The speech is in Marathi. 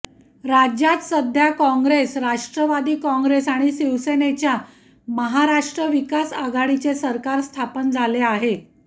राज्यात सध्या काँग्रेस राष्ट्रवादी काँग्रेस आणि शिवसेनेच्या महाराष्ट्र विकास आघाडीचे सरकार स्थापन झाले आहे